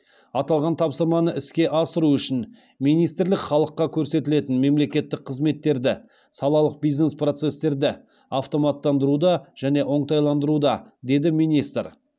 аталған тапсырманы іске асыру үшін министрлік халыққа көрсетілетін мемлекеттік қызметтерді салалық бизнес процестерді автоматтандыруда және оңтайландыруда деді министр